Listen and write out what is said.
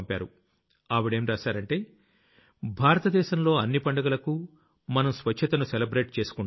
ఆవిడేం రాశారంటే భారత దేశంలో అన్ని పండగలకూ మనం స్వచ్ఛతను సెలబ్రేట్ చేసుకుంటాం